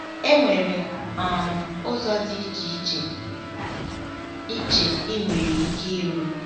Enwere um ụzọ dị iche iche ị iche ị nwere ike iru.